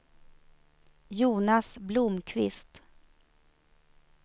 Jonas Blomqvist